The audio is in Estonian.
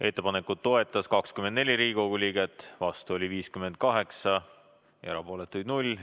Ettepanekut toetas 24 Riigikogu liiget, vastu oli 58 ja erapooletuid 0.